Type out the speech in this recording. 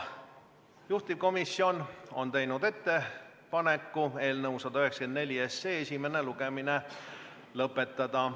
Juhtivkomisjon on teinud ettepaneku eelnõu 194 esimene lugemine lõpetada.